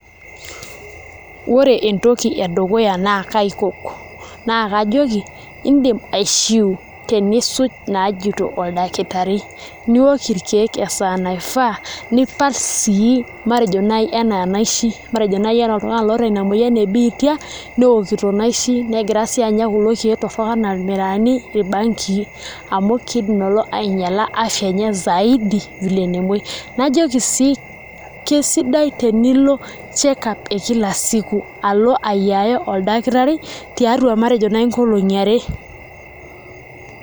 Ore entoki edukuya naa kaikok naa kajoki iindim aishiu tenisuj inaajito oldakitari, niook irkeek esaa naifaa nipal sii matejo naai enaa inaishi matejo naai enaa oltung'ani loota ina moyian e biita neokito inaishi negira taa sii anya kulo keek torrok enaa irmiraani irbangii amu kiidim lelo ainyiala afya enye zaidi vile nemuoi, najoki sii kesidai tenilo check up e kila siku pee elo ayaiya oldakitari tatua matejo naai nkolong'i are.